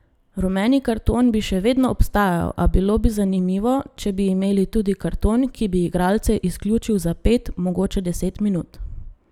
Rumeni karton bi še vedno obstajal, a bilo bi zanimivo, če bi imeli tudi karton, ki bi igralce izključil za pet, mogoče deset minut.